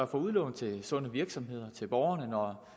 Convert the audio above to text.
for udlån til sunde virksomheder og til borgerne når